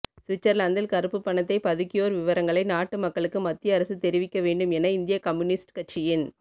சுவிட்சர்லாந்தில் கருப்பு பணத்தை பதுக்கியோர் விவரங்களை நாட்டு மக்களுக்கு மத்திய அரசு தெரிவிக்க வேண்டும் என இந்திய கம்யூனிஸ்ட் கட்சியின்